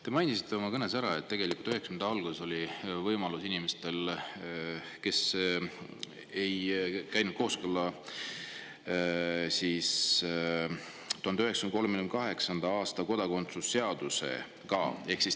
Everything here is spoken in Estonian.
Te mainisite oma kõnes ära, et tegelikult 1990‑ndate alguses avanes võimalus inimestele, kes ei 1938. aasta kodakondsuse seaduse nõuetele.